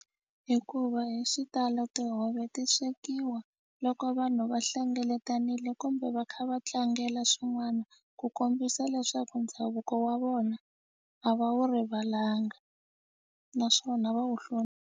Hikuva hi xitalo tihove ti swekiwa loko vanhu va hlengeletanile kumbe va kha va tlangela swin'wana ku kombisa leswaku ndhavuko wa vona a va wu rivalanga naswona va wu .